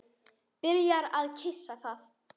Byrjar að kyssa það.